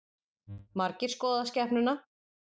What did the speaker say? Margir skoða skepnuna